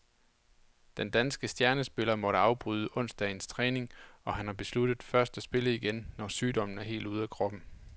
Den danske stjernespiller måtte afbryde onsdagens træning, og han har besluttet først at spille igen, når sygdommen er helt ude af kroppen.